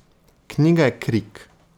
Knjiga je krik.